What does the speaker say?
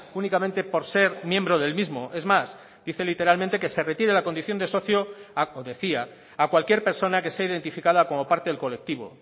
únicamente por ser miembro del mismo es más dice literalmente que se retire la condición de socio o decía a cualquier persona que sea identificada como parte del colectivo